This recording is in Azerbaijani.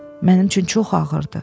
Mənim üçün çox ağırdır.